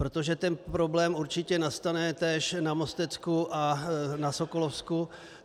Protože ten problém určitě nastane též na Mostecku a na Sokolovsku.